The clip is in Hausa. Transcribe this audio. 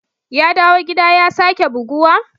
Ya dawo gida ya sake buguwa?